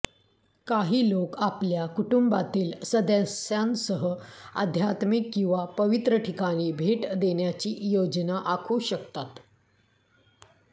काही लोक आपल्या कुटुंबातील सदस्यांसह आध्यात्मिक किंवा पवित्र ठिकाणी भेट देण्याची योजना आखू शकतात